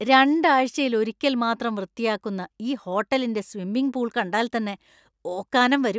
രണ്ടാഴ്ചയിൽ ഒരിക്കൽ മാത്രം വൃത്തിയാക്കുന്ന ഈ ഹോട്ടലിന്‍റെ സ്വിമ്മിംഗ് പൂൾ കണ്ടാൽ തന്നെ ഓക്കാനം വരും.